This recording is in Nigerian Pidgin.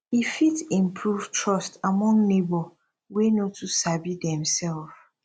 e fit improve trust among neibor wey no too sabi demself